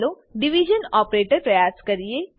ચાલો division operator પ્રયાસ કરીએ